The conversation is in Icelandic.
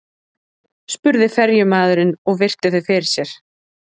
spurði ferjumaðurinn og virti þau fyrir sér.